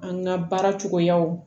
An ka baara cogoyaw